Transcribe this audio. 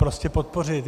Prostě podpořit.